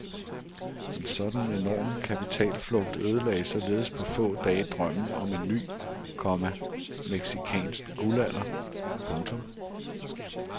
En sådan enorm kapitalflugt ødelagde således på få dage drømmen om en ny, komma mexicansk guldalder. punktum